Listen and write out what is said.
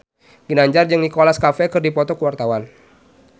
Ginanjar jeung Nicholas Cafe keur dipoto ku wartawan